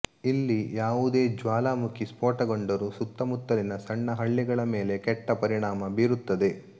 ಇಲ್ಲಿ ಯಾವುದೇ ಜ್ವಾಲಾಮುಖಿ ಸ್ಪೋಟಗೊಂಡರೂ ಸುತ್ತಮುತ್ತಲಿನ ಸಣ್ಣ ಹಳ್ಳಿಗಳ ಮೇಲೆ ಕೆಟ್ಟ ಪರಿಣಾಂ ಬೀರುತ್ತದೆ